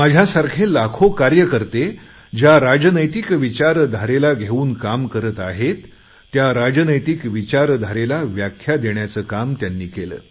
माझ्यासारखे लाखो कार्यकर्ते ज्या राजकीय विचारधारेला घेऊन काम करत आहेत त्या राजकीय विचारधारेला व्याख्या देण्याचे काम त्यांनी केले